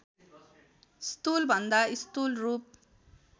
स्थूलभन्दा स्थूल रूप